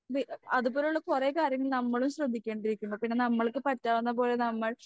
നീ അതുപോലുള്ള കുറെ കാര്യങ്ങൾ നമ്മളും ശ്രദ്ധിക്കേണ്ടിയിരിക്കുന്നു പിന്നെ നമ്മൾക്ക് പറ്റാവുന്ന പോലെ നമ്മൾ